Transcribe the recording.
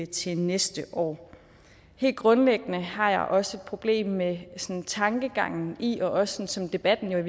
til næste år helt grundlæggende har jeg også et problem med den tankegang og i virkeligheden også som debatten